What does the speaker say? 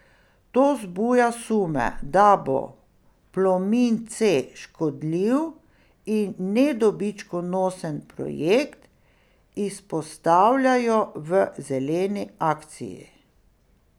To zbuja sume, da bo Plomin C škodljiv in nedobičkonosen projekt, izpostavljajo v Zeleni akciji.